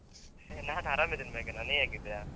ಹೇ ನಾನ್ ಆರಾಮಿದ್ದೇನೆ ಮೇಘನಾ, ನೀನ್ ಹೇಗಿದ್ದೀಯಾ?